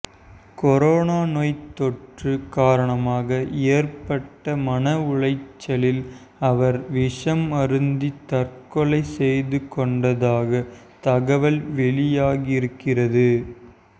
corona நோய்த் தொற்று காரணமாக ஏற்பட்ட மன உளைச்சலில் அவர் விஷம் அருந்தி தற்கொலை செய்துகொண்டதாக தகவல் வெளியாகியிருக்கிறது